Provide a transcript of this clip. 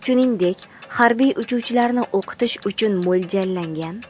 shuningdek harbiy uchuvchilarni o‘qitish uchun mo‘ljallangan.